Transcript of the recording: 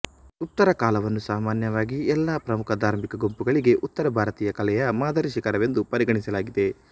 ಗುಪ್ತರ ಕಾಲವನ್ನು ಸಾಮಾನ್ಯವಾಗಿ ಎಲ್ಲ ಪ್ರಮುಖ ಧಾರ್ಮಿಕ ಗುಂಪುಗಳಿಗೆ ಉತ್ತರ ಭಾರತೀಯ ಕಲೆಯ ಮಾದರಿ ಶಿಖರವೆಂದು ಪರಿಗಣಿಸಲಾಗಿದೆ